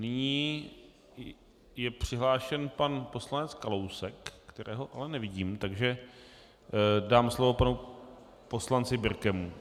Nyní je přihlášen pan poslanec Kalousek, kterého ale nevidím, takže dám slovo panu poslanci Birkemu.